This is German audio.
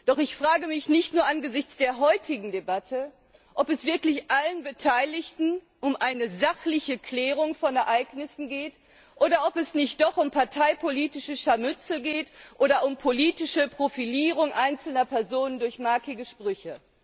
Doch ich frage mich nicht nur angesichts der heutigen Debatte, ob es wirklich allen Beteiligten um eine sachliche Klärung von Ereignissen geht, oder nicht doch um parteipolitische Scharmützel oder politische Profilierung einzelner Personen durch markige Sprüche.